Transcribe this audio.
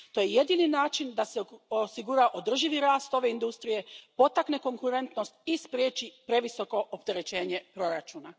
To je jedini način da se osigura održivi rast ove industrije, potakne konkurentnost i spriječi previsoko opterećenje proračuna.